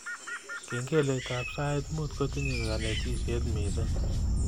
Kengeletab sait muut kotinye kanetishet mising